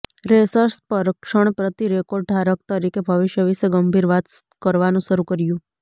racers પર ક્ષણ પ્રતિ રેકોર્ડ ધારક તરીકે ભવિષ્ય વિશે ગંભીર વાત કરવાનું શરૂ કર્યું